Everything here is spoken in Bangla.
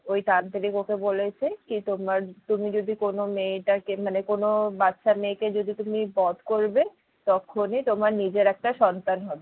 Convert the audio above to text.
ওই তান্ত্রিক ওকে বলেছে কি তোমরা তুমি যদি কোনো মেয়েটাকে মানে কোনো বাচ্চা মেয়ে কে যদি তুমি বধ করবে তক্ষুনি তোমার নিজের একটা সন্তান হবে।